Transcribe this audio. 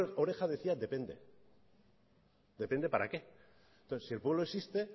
mayor oreja decía depende depende para qué entonces si el pueblo existe